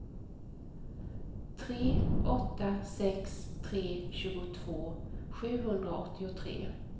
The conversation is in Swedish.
tre åtta sex tre tjugotvå sjuhundraåttiotre